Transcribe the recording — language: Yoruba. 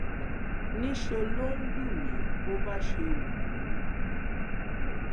níṣẹ ló ń lù mí bó bá ṣe wù ú